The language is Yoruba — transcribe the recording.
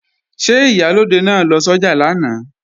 Ṣé Ìyálóde náà lọ sọ́jà lánàá?